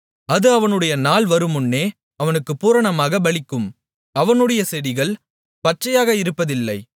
அது அவனுடைய நாள் வருமுன்னே அவனுக்குப் பூரணமாகப் பலிக்கும் அவனுடைய செடிகள் பச்சையாக இருப்பதில்லை